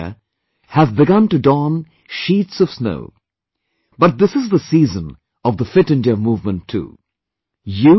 Parts of the Himalaya have begun to don sheets of snow, but this is the season of the 'fit India movement' too